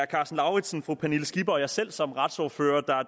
karsten lauritzen fru pernille skipper og mig selv som retsordførere